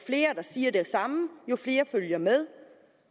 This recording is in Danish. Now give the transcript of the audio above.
flere der siger det samme jo flere følger med